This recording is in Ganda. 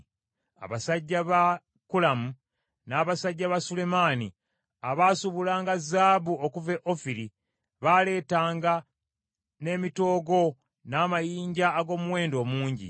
Abasajja ba Kulamu n’abasajja ba Sulemaani abaasuubulanga zaabu okuva e Ofiri baaleetanga n’emitoogo n’amayinja ag’omuwendo omungi.